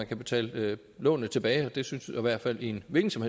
kan betale lånene tilbage det synes i hvert fald i en hvilken som